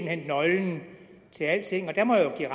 hen er nøglen til alting og jeg må jo give